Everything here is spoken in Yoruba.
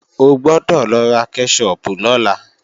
O gbọ́dọ̀ lọ ra kẹ́ṣọpù lọ́la!